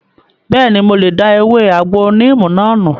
Bẹ́ẹ̀ni, mo lè da ewé àgbo níìmù náà nù